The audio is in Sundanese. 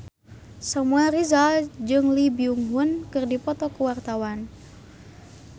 Samuel Rizal jeung Lee Byung Hun keur dipoto ku wartawan